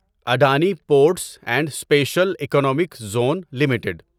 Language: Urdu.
Adani ports and special economic zone limited